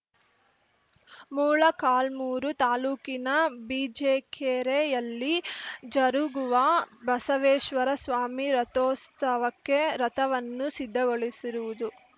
ಮೂಳಕಾಲ್ಮುರು ತಾಲೂಕಿನ ಬಿಜಿಕೆರೆಯಲ್ಲಿ ಜರುಗುವ ಬಸವೇಶ್ವರ ಸ್ವಾಮಿ ರಥೋಸ್ತವಕ್ಕೆ ರಥವನ್ನು ಸಿದ್ಧಗೊಳಿಸಿರುವುದು